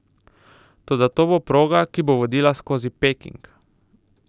Toda to bo proga, ki bo vodila skozi Peking.